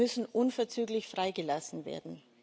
Sie müssen unverzüglich freigelassen werden.